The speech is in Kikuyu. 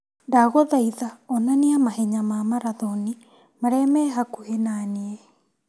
Ndagũthaitha onania mahenya ma marathoni marĩa me hakuhĩ naniĩ.